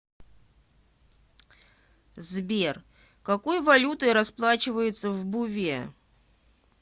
сбер какой валютой расплачиваются в буве